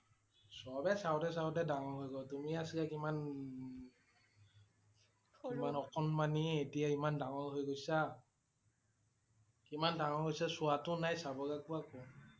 চবেই চাওঁতে চাওঁতে ডাঙৰ হৈ গল তুমি আছিলা কিমান ন~ননন অকণমানি এতিয়া ইমান ডাঙৰ হৈ গৈছা। কিমান ডাঙৰ হৈছে চোৱা টো নাই চাব লাগিব~আগব